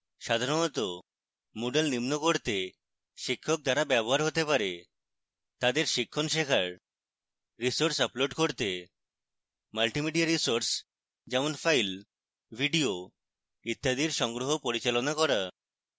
সাধারণত moodle নিম্ন করতে শিক্ষক দ্বারা ব্যবহার হতে পারে